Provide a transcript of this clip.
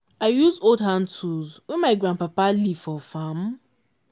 i use old hand tools wey my grandpapa leave for farm.